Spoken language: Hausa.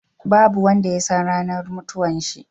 Babu wanda yasan ranar mutuwan shi